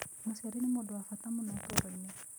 Mũciari nĩ mũndũ wa bata mũno ũtũũro-inĩ.